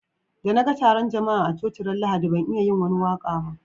Da na gan tarun jama'a a coci ran Lahadi ban iya yin wani waka ba.